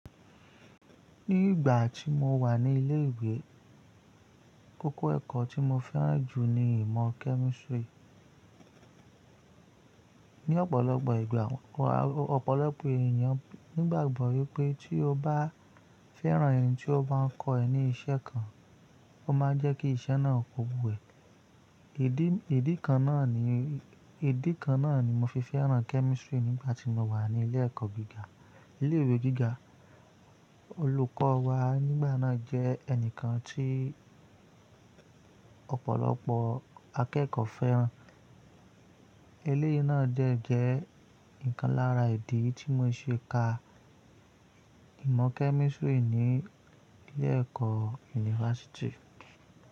Ní ìgbà tí mo wà ní ilé ìwé, koko ẹ̀kọ́ tí mo fẹ́ràn jù ni ìmọ̀ chemistry. Ní ọ̀pọ̀lọpọ̀ ìgbà, ọ̀pọ̀lọpọ̀ èèyàn nígbàgbọ́ wípé tí o bá fẹ́ràn ẹ̀n tí ó ba ń kọ ẹ ní iṣẹ́ kan, ó máa jẹ́ kí iṣẹ́ náà ko wú ẹ́ idi ìdí kan náà ni, ìdí kan náà ni mo fi fẹ́ràn chemistry nígbà tí mo wà ní ilé ẹ̀kọ́ gíga. Ilé ìwé gíga, olùkọ́ wa nígbà náà jẹ́ ẹnìkan tí ọ̀pọ̀lọpọ̀ akẹ́kọ̀ọ́ fẹ́ràn. Eléyìí náà dẹ́ jẹ́ ukan lára ìdí tí mo ṣe ka ìmọ̀ chemistry ní ilé ẹ̀kọ́ yunifásítì.